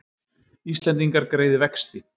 Íslendingar greiði vexti